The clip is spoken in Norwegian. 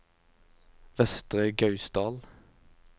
Vestre Gausdal